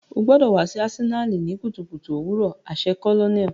O gbọdọ wa si Asenali ni kutukutu owurọ aṣẹ colonel.